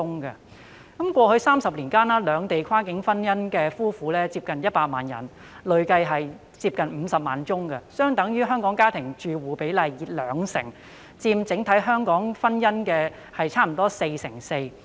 在過去30年間，兩地跨境婚姻的夫婦接近100萬人，結婚數字累積近50萬宗，相等於香港家庭住戶比例的兩成，佔香港整體婚姻約 44%。